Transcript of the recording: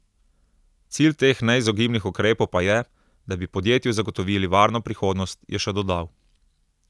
Cilj teh neizogibnih ukrepov pa je, da bi podjetju zagotovili varno prihodnost, je še dodal.